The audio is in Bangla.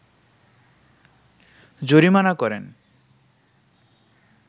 জরিমানা করেন